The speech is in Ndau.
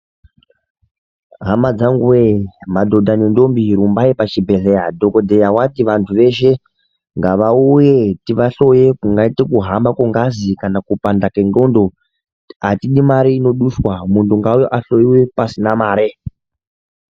Hama dzangu weee Madhodha nendombi rumbai pachibhedhle dhokodheya wati vantu veshe ngavauye tivahloye kungaite kuhamba kwengazi kana kupanda kwengondo ngavauye tivahloye apana mare inodiwapo.